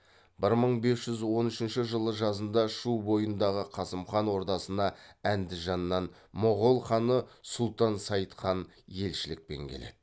бір мың бес жүз он үшінші жылы жазында шу бойындағы қасым хан ордасына әндіжаннан моғол ханы сұлтан сайд хан елшілікпен келеді